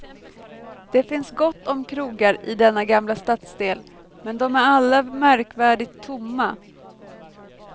Det finns gott om krogar i denna gamla stadsdel men de är alla märkvärdigt tomma.